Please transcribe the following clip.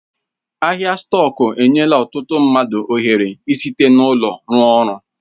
Ahịa stọku enyela ọtụtụ mmadụ ohere ị site n'ụlọ rụọ ọrụ